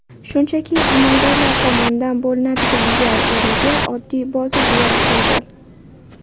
Shunchaki amaldorlar tomonidan bo‘linadigan joy o‘rniga oddiy bozor yaratildi.